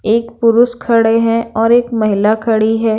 एक पुरुष खड़े हैं और एक महिला खड़ी है।